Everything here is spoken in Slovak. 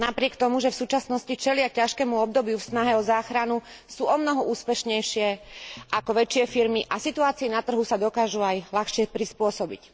Napriek tomu, že v súčasnosti čelia ťažkému obdobiu v snahe o záchranu, sú omnoho úspešnejšie ako väčšie firmy a situácii na trhu sa dokážu aj ľahšie prispôsobiť.